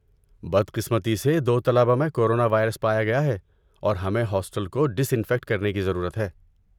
بد قسمتی سے، دو طلبہ میں کورونا وائرس پایا گیا ہے، اور ہمیں ہاسٹل کو ڈس انفیکٹ کرنے کی ضرورت ہے۔